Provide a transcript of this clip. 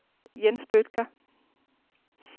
Jens Bødker